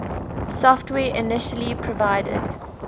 software initially provided